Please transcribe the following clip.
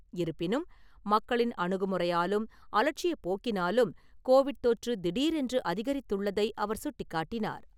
இருப்பினும், மக்களின் அணுகுமுறையாலும், அலட்சியப் போக்கினாலும், கோவிட் தொற்று, திடீரென்று அதிகரித்துள்ளதை அவர் சுட்டிக்காட்டினார்.